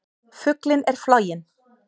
Fuglinn er floginn!